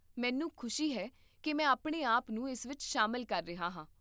ਮੈਨੂੰ ਖੁਸ਼ੀ ਹੈ ਕਿ ਮੈਂ ਆਪਣੇ ਆਪ ਨੂੰ ਇਸ ਵਿੱਚ ਸ਼ਾਮਲ ਕਰ ਰਿਹਾ ਹਾਂ